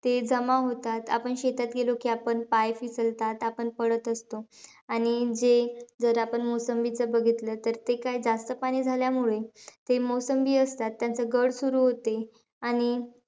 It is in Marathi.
ते जमा होतात. आपण शेतात गेलो की आपण पाय , आपण पडत असतो. आणि जे जर, आपण मोसंबीचा बघितलं तर, ते काय जास्तपाणी झाल्यामुळे ते मोसंबी असतात त्यांचं घट सुरु होते. आणि,